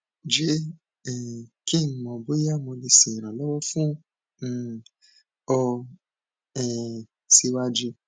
jẹ um ki n mọ boya mo le ṣe iranlọwọ fun um ọ um siwaju